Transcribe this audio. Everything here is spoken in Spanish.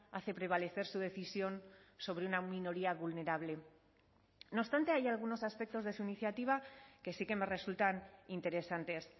hace prevalecer su decisión sobre una minoría vulnerable no obstante hay algunos aspectos de su iniciativa que sí que me resultan interesantes